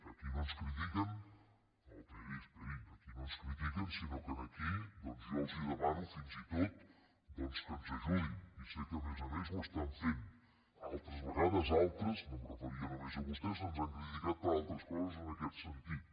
aquí no ens critiquen no esperi esperi sinó que aquí doncs jo els demano fins i tot que ens ajudin i sé que a més a més ho estan fent altres vegades altres no em referia només a vostès ens han criticat per altres coses en aquest sentit